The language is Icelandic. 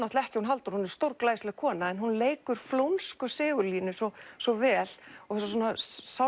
ekki hún Halldóra hún er stórglæsileg kona en hún leikur flónsku Sigurlínu svo svo vel